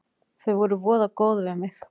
Þau voru voða góð við mig.